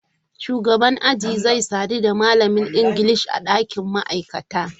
Shugaban aji zai sadu da malamin Ingilishi a ɗakin ma'aikata.